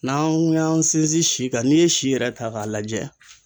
N'an y'an sinsin si kan n'i ye si yɛrɛ ta k'a lajɛ.